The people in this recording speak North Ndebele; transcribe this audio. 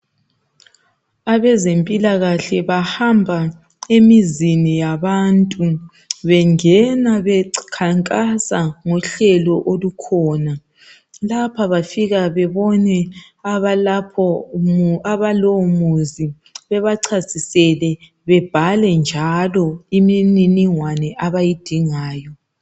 Abezempilakahle bahamba emizini yabantu. Bengena bekhankasa ngohlelo lapha bafika bebone abalapho mu abalowomuzi bebachasisele bebhale njalo imininingwane abayidingayo.